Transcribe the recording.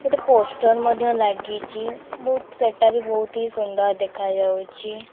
ଗୋଟେ ପୋଷ୍ଟର ମଧ୍ୟ ଲାଗିଚି। ବୋହୁତ ସେଟାବି ବୋହୁତି ସୁନ୍ଦର ଦେଖା ଯାଉଚି।